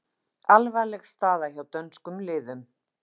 Alvarleg staða hjá dönskum liðum